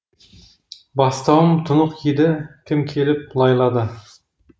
бастауым тұнық еді кім келіп лайлады